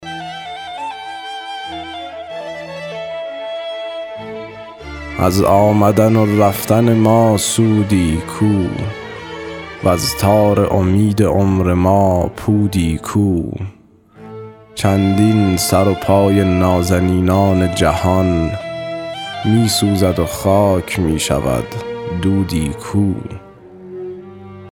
از آمدن و رفتن ما سودی کو وز تار امید عمر ما پودی کو چندین سر و پای نازنینان جهان می سوزد و خاک می شود دودی کو